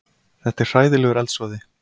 Þetta er hræðilegur eldsvoði